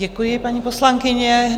Děkuji, paní poslankyně.